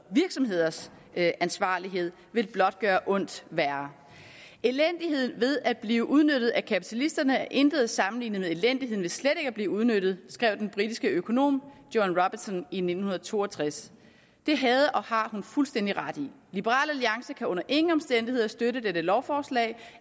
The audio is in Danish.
virksomheders ansvarlighed vil blot gøre ondt værre elendighed ved at blive udnyttet af kapitalisterne er intet at sammenligne med elendigheden ved slet ikke at blive udnyttet skrev den britiske økonom joan robinson i nitten to og tres det havde og har hun fuldstændig ret i liberal alliance kan under ingen omstændigheder støtte dette lovforslag